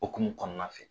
Okumu kɔnɔna fɛ